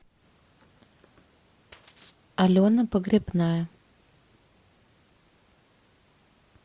алена погребная